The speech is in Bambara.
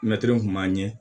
Mɛtiri kun b'an ɲɛ